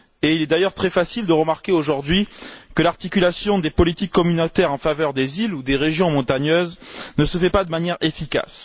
Il est d'ailleurs très facile de remarquer aujourd'hui que l'articulation des politiques communautaires en faveur des îles ou des régions montagneuses ne se fait pas de manière efficace.